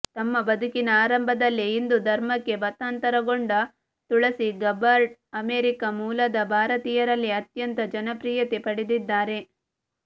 ತಮ್ಮ ಬದುಕಿನ ಆರಂಭದಲ್ಲೇ ಹಿಂದು ಧರ್ಮಕ್ಕೆ ಮತಾಂತರಗೊಂಡ ತುಳಸಿ ಗಬ್ಬಾರ್ಡ್ ಅಮೆರಿಕ ಮೂಲದ ಭಾರತೀಯರಲ್ಲಿ ಅತ್ಯಂತ ಜನಪ್ರಿಯತೆ ಪಡೆದಿದ್ದಾರೆ